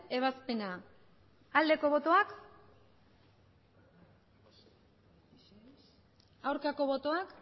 ebazpena aldeko botoak aurkako botoak